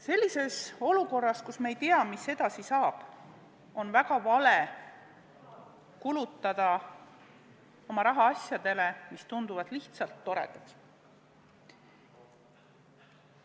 Sellises olukorras, kus me ei tea, mis edasi saab, on väga vale kulutada oma raha asjadele, mis tunduvad lihtsalt toredad.